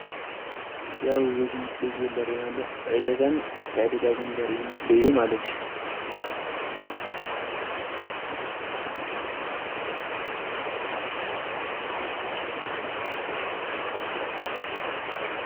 ያው ብዝ ምስለ ዘሬናሎ ዒደጋን መታይደዳግን ለርይ ምስልዩ ማለት እዩ።